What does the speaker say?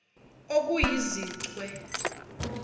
okuyizichwe